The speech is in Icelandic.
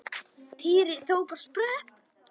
Týri tók á sprett.